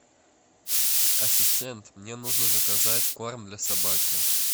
ассистент мне нужно заказать корм для собаки